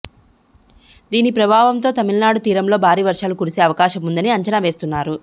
దీని ప్రభావంతో తమిళనాడు తీరంలో భారీ వర్షాలు కురిసే అవకాశం ఉందని అంచనా వేస్తున్నారు